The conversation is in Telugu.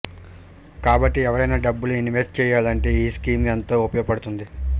కాబట్టి ఎవరైనా డబ్బులు ఇన్వెస్ట్ చేయాలంటే ఈ స్కీం ఎంతో ఉపయోగపడుతుంది